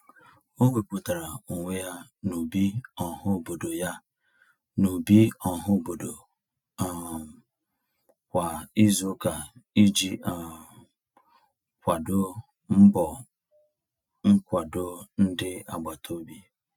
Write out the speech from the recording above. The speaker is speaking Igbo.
O wepụtara onwe ya n'ubi ọhaobodo ya n'ubi ọhaobodo um kwa izuụka iji um kwado mbọ nkwado ndị agbataobi.